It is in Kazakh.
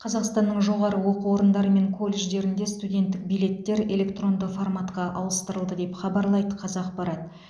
қазақстанның жоғары оқу орындары мен колледждерінде студенттік билеттер электронды форматқа ауыстырылды деп хабарлайды қазақпарат